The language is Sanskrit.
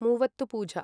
मुवत्तुपूजा